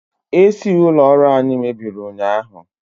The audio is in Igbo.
AC ụlọ ọrụ anyi mebiri ụnyahụ